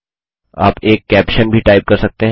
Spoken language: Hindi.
आप एक कैप्शन भी टाइप कर सकते हैं